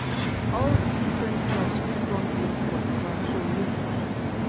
all di different clubs fit come in for ivan so make we see.